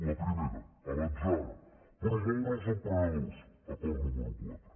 la primera a l’atzar promoure els emprenedors acord número quatre